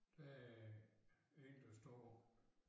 Der er én der står